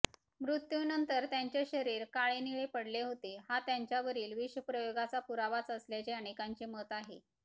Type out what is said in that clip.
मृत्यूनंतर त्यांचे शरीर काळेनिळे पडले होते हा त्यांच्यावरील विषप्रयोगाचा पुरावाच असल्याचे अनेकांचे मत आहे